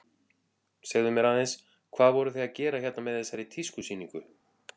Segðu mér aðeins, hvað voruð þið að gera hérna með þessari tískusýningu?